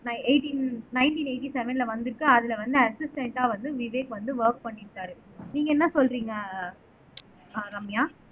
நை eighteen nineteen eighty செவன்ல வந்திருக்கு அதுல வந்து அஸிஸ்டண்ட்டா வந்து விவேக் வந்து வொர்க் பண்ணியிருக்காரு நீங்க என்ன சொல்றீங்க அஹ் ரம்யா